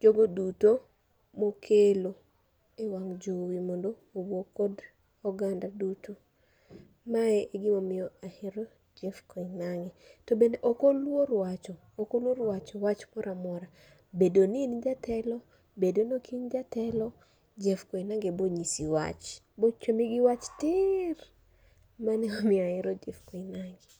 jogo duto mokelo e wang' jowi mondo owuo kod oganda duto. Mae e gimomiyo ahero Jeff Koinange. To bende okoluor wacho, okoluor wacho wach moramora. Bedo ni in jatelo, bedo nok in jatelo, Jeff Koinange bonyisi wach. Bochomi gi wach tir, mane momiyo ahero Jeff Koinange.